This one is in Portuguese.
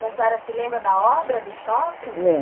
E a senhora se lembra da obra do shopping?